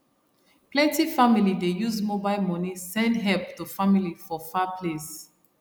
plenty family dey use mobile money send help to family for far place